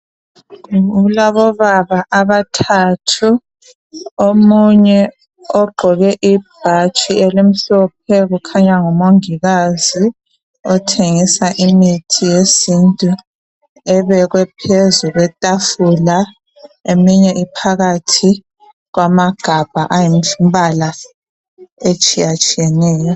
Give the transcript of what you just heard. Kulabobaba abathathu omunye ogqoke ibhatshi elimhlophe kukhanya ngumongikazi othengisa imithi yesintu ebekwe phezu kwetafula eminye iphakathi kwamagabha ayimbala etshiyatshiyeneyo.